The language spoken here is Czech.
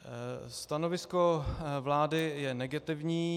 Stanovisko vlády je negativní.